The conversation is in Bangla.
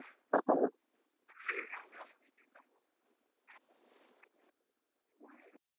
আলহামদুলিল্লাহ